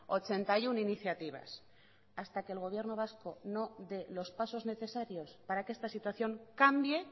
ochenta y uno iniciativas hasta que el gobierno vasco no dé los pasos necesarios para que esta situación cambie